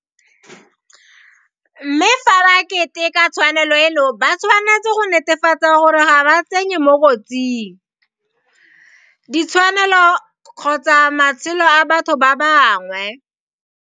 Mme fa ba keteka tshwanelo eno ba tshwanetse go netefatsa gore ga ba tsenye mo kotsing [, di tshwanelo kgotsa matshelo a batho ba bangwe.